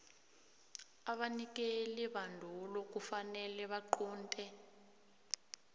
abanikelibandulo kufanele baqunte